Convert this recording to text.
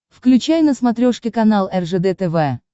включай на смотрешке канал ржд тв